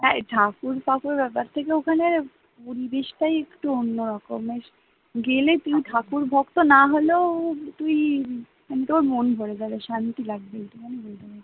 হ্যাঁ ঠাকুর ফাকুর ব্যাপার থেকে ওখানের পরিবেশটাই একটু অন্য রকমের, গেলে তুই ঠাকুরভক্ত না হলেও তুই মানে তোর মন ভরে যাবে, শান্তি লাগবে এইটুকু আমি বলতে পারি